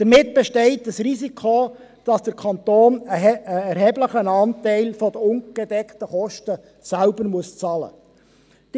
Damit besteht ein Risiko, dass der Kanton einen erheblichen Anteil der ungedeckten Kosten selbst bezahlen muss.